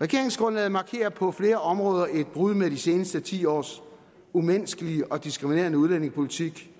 regeringsgrundlaget markerer på flere områder et brud med de seneste ti års umenneskelige og diskriminerende udlændingepolitik